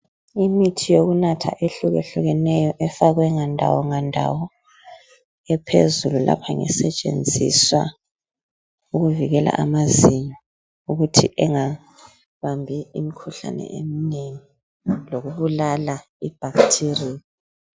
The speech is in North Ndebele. Imithi yokunatha ehlukehlukeneyo efakwe ngandawo ngandawo ephezulu lapha ngesetshenziswa ukuvikela amazinyo ukuthi engabambi imikhuhlane eminengi lokubulala i"bacteria".